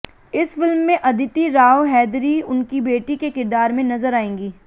इस फिल्म में अदिति राव हैदरी उनकी बेटी के किरदार में नजर आएंगी